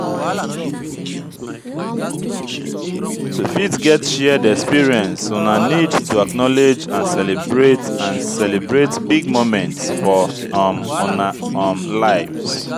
to fit get shared expeience una need to acknowlege and celebrate and celebrate big moments for um una um lives